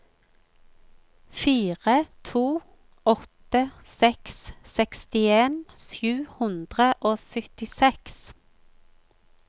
fire to åtte seks sekstien sju hundre og syttiseks